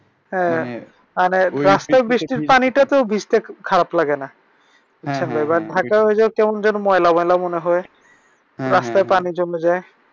হ্যাঁ মানি ঐ বৃষ্টির পানিটা তো ভিজতে খুব খারাপ লাগেনা। ঢাকায় কেমন জানি ময়লা পানি মনে হয় রাস্তায় পানি যমে যায়।